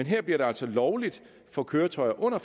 her bliver det altså lovligt for køretøjer under